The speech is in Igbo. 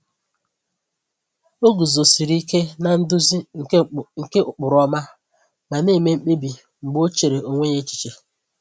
O guzosiri ike na-nduzi nke ụkpụrụ ọma, ma na-eme mkpebi mgbe o chere onwe ya echiche.